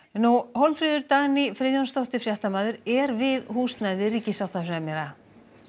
Hólmfríður Dagný Friðjónsdóttir fréttamaður er við húsnæði ríkissáttasemjara